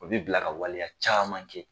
O bi bila ka waleya caman kɛ.